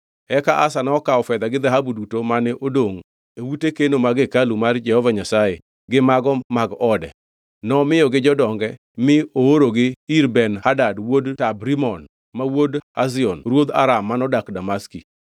Eka Asa nokawo fedha gi dhahabu duto mane odongʼ e ute keno mag hekalu mar Jehova Nyasaye gi mago mag ode. Nomiyogi jodonge mi oorogi ir Ben-Hadad wuod Tabrimon ma wuod Hezion ruodh Aram manodak Damaski.